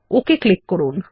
okay click করুন